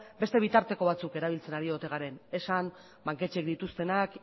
beste bitarteko batzuk erabiltzen ari ote garen esan banketxeek dituztenak